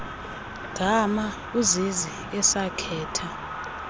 gama uzizi esakhetha